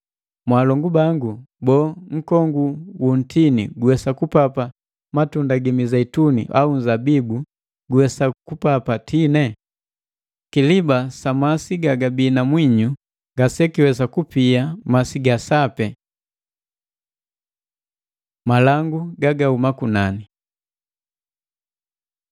Mwaalongu bangu, boo nkongu wu ntini guwesa kupapa matunda gi Mizeituni au nzabibu guwesa kupapa tini? Kiliba masi gagabii na mwinyu ngasekiwesa kupia masi ga sapi. Malangu gagahuma kunani